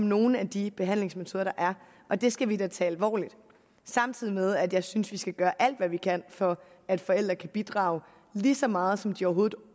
nogle af de behandlingsmetoder der er og det skal vi da tage alvorligt samtidig med at jeg synes vi skal gøre alt hvad vi kan for at forældre kan bidrage lige så meget som de overhovedet